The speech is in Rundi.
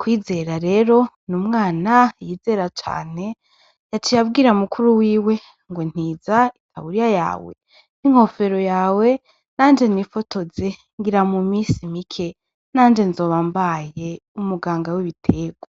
Kwizera rero ni umwana yizera cane yaciye abwira mukuru w'iwe ngo ntiza itaburiya yawe n'inkofero yawe nanje nifotoze ngira mu misi mike nanje nzoba mbaye umuganga w'ibitegwa.